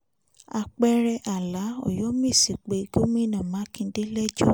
apẹ̀rẹ̀ àlàa ọyọ́mẹ́sì pe gómìnà mákindè lẹ́jọ́